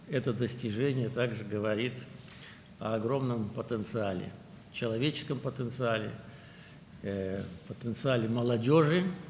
Bu nailiyyət həm də böyük potensialdan, insan potensialından, gənclərin potensialından xəbər verir.